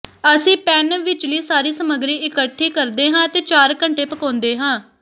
ਅਸੀਂ ਪੈਨ ਵਿਚਲੀ ਸਾਰੀ ਸਮੱਗਰੀ ਇਕੱਠੀ ਕਰਦੇ ਹਾਂ ਅਤੇ ਚਾਰ ਘੰਟੇ ਪਕਾਉਦੇ ਹਾਂ